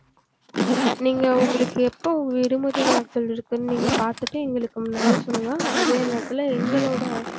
நீங்க உங்களுக்கு எப்ப விடுமுறை நாட்கள் இருக்குனு நீங்க பாத்துட்டு எங்களுக்கு முன்னாடியே சொல்லுங்க அதே நேரத்துல எங்களோட